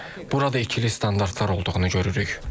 Burada ikili standartlar olduğunu görürük.